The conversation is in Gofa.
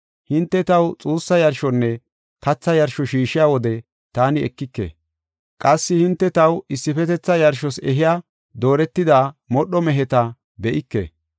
Hinte taw xuussa yarshonne katha yarsho shiishiya wode taani ekike. Qassi hinte taw issifetetha yarshos ehiya dooretida modho meheta be7ike.